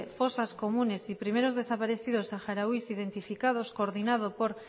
fosas comunes y primeros desaparecidos saharauis identificados coordinado por